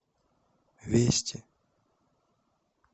вести